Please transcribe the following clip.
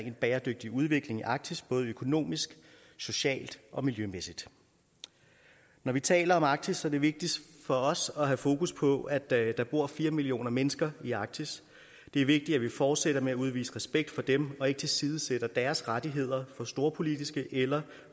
en bæredygtig udvikling i arktis både økonomisk socialt og miljømæssigt når vi taler om arktis er det vigtigt for os at have fokus på at der bor fire millioner mennesker i arktis det er vigtigt at vi fortsætter med at udvise respekt for dem og ikke tilsidesætter deres rettigheder for storpolitiske eller